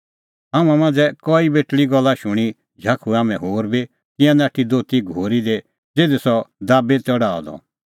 हाम्हां मांझ़ै कई बेटल़ीए गल्ला शूणीं झाखुऐ हाम्हैं होर बी तिंयां नाठी दोती घोरी दी ज़िधी सह दाबी त डाहअ द